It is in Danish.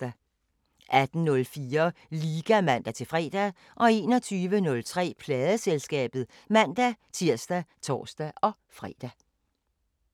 18:04: Liga (man-fre) 21:03: Pladeselskabet (man-tir og tor-fre)